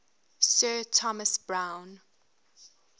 sir thomas browne